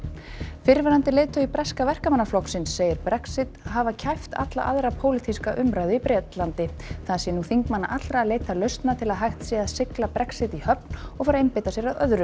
fyrrverandi leiðtogi breska Verkamannaflokksins segir Brexit hafi kæft alla aðra pólitíska umræðu í Bretlandi það sé nú þingmanna allra að leita lausna til að hægt sé að sigla Brexit í höfn og fara að einbeita sér að öðru